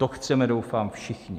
To chceme doufám všichni.